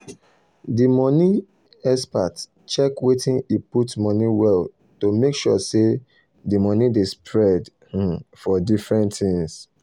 di money um expert check wetin e put money well to make sure say the money dey spread um for different things.